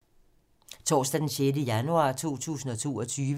Torsdag d. 6. januar 2022